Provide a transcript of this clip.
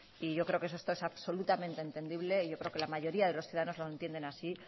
y yo creo que eso todo es absolutamente entendible y yo creo que la mayoría de los ciudadanos lo entienden así